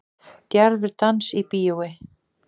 Djarfur dans í bíói